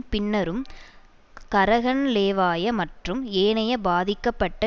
பின்னரும் கரகன்லேவாய மற்றும் ஏனைய பாதிக்கப்பட்ட